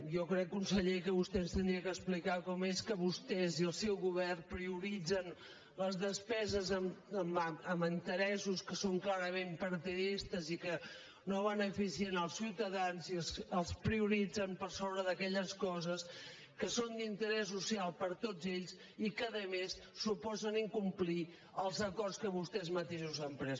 jo crec conseller que vostè ens hauria d’explicar com és que vostès i el seu govern prioritzen les despeses en interessos que són clarament partidistes i que no beneficien els ciutadans i els prioritzen per sobre d’aquelles coses que són d’interès social per a tots ells i que a més suposen incomplir els acords que vostès mateixos han pres